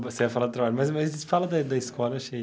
Você ia falar do trabalho, mas mas fala da da escola, achei.